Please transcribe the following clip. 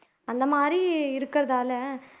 அந்த மாதிரி இருக்கிறதால